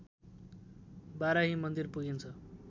बाराही मन्दिर पुगिन्छ